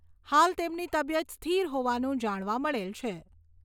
હાલ તેમની તબિયત સ્થિર હોવાનું જાણવા મળેલ છે.